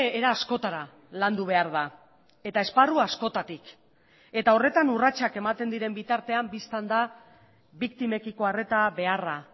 era askotara landu behar da eta esparru askotatik eta horretan urratsak ematen diren bitartean bistan da biktimekiko arreta beharra